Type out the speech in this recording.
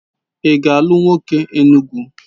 Ị ga-alụ nwoke Enugu?